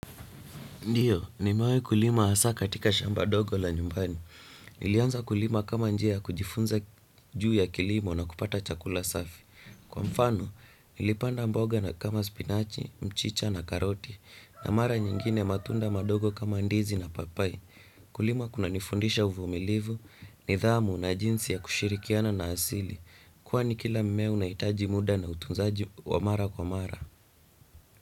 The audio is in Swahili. Ndiyo, nimewahi kulima asa katika shamba dogo la nyumbani. Nilianza kulima kama njia ya kujifunza juu ya kilimo na kupata chakula safi. Kwa mfano, nilipanda mboga na kama spinachi, mchicha na karoti. Na mara nyingine matunda mandogo kama ndizi na papai. Kulima kuna nifundisha uvumilivu, nidhamu na jinsi ya kushirikiana na asili. Kwani kila mmea unahitaji muda na utunzaji wa mara kwa mara.